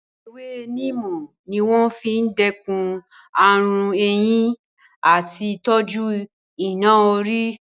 Ewé níìmù ní wọ́n fi n dẹ́kun ààrùn eyín àti tí tọ́jú iná-orí